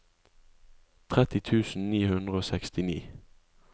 tretti tusen ni hundre og sekstini